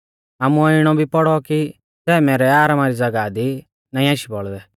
आमुऐ इणौ भी पौड़ौ कि सै मैरै आरामा री ज़ागाह दी नाईं आशी बौल़दै